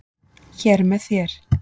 Hér með þér